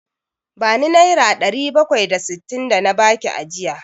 Bani Naira ɗari bakwai da sittin da na baki ajiya!